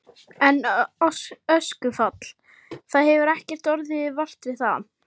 En öskufall, það hefur ekkert orðið vart við það?